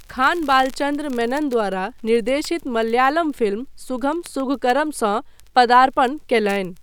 खान बालचन्द्र मेनन द्वारा निर्देशित मलयालम फिल्म सुघम सुघकरमसँ पर्दापण कयलनि।